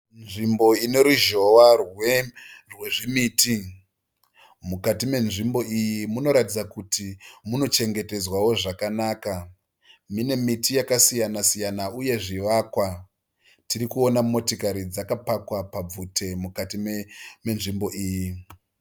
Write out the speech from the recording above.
Nzvimbo ine ruzhowa rwezvimiti. Mukati menzvimbo iyi munoratidza kuti munochengetedzwawo zvakanaka. Mune miti yakasiyana siyana uye zvivakwa. Tiri kuona motikari dzakapakwa pabvute mukati menzvimbo iyi.